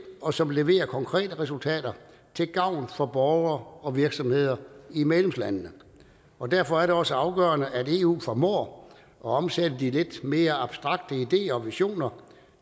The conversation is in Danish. og som leverer konkrete resultater til gavn for borgere og virksomheder i medlemslandene og derfor er det også afgørende at eu formår at omsætte de lidt mere abstrakte ideer og ambitioner